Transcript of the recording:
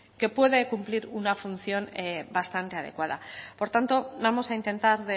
que puede cumplir una función bastante adecuada por tanto vamos a intentar